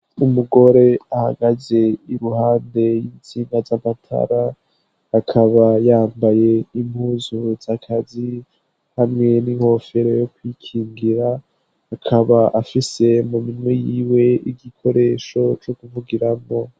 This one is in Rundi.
Umugore ahagaze iruhande y'intsinga z'amatara akaba yambaye impuzu z'akazi hamwe n'inkofero yo kwikingira, akaba afise muminwe yiwe igikoresho co kuvugiramo.